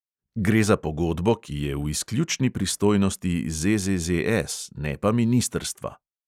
Gre za pogodbo, ki je v izključni pristojnosti ZZZS, ne pa ministrstva.